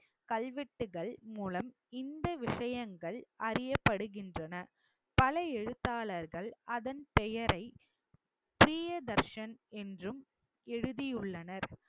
கல்வெட்டுகள் மூலம் இந்த விஷயங்கள் அறியப்படுகின்றன பல எழுத்தாளர்கள் அதன் பெயரை பிரியதர்ஷன் என்றும் எழுதியுள்ளனர்